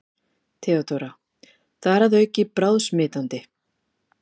THEODÓRA: Þar að auki bráðsmitandi!